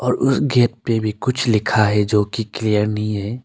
और उस गेट पे भी कुछ लिखा है जो कि क्लियर नहीं है।